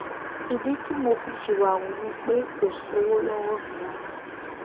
ìdí tí mo fi síwáhu ni pé kò sówó lọwọ mi rárá